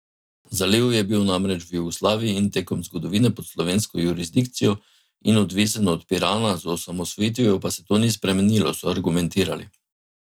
Zaliv je bil namreč v Jugoslaviji in tekom zgodovine pod slovensko jurisdikcijo in odvisen od Pirana, z osamosvojitvijo pa se to ni spremenilo, so argumentirali.